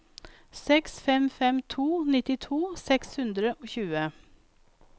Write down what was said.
seks fem fem to nittito seks hundre og tjue